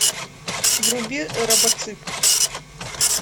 вруби робоцып